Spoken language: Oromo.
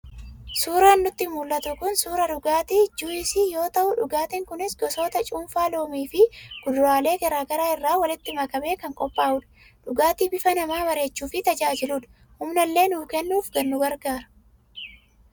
Suuraan nutti mul'atu kun, suuraa dhugaatii 'juice' yoo ta'u dhugaatiin kunis gosoota cuunfaa loomii fi kuduraalee garaa garaa irraa walitti makamee kan qophaa'udha. Dhugaatii bifa namaa bareechuuf tajaajiludha, humnallee nuuf kennuun nu gargaara.